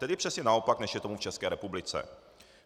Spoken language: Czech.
Tedy přesně naopak, než je tomu v České republice.